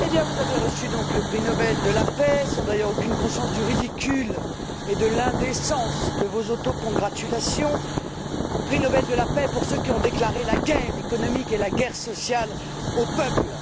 Eh bien, vous avez donc reçu le prix Nobel de la paix, sans d'ailleurs aucune conscience du ridicule et de l'indécence de vos autocongratulations, le prix Nobel de la paix, pour ceux qui ont déclaré la guerre économique et la guerre sociale aux peuples.